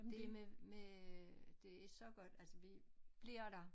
Det med med det er så godt altså vi bliver der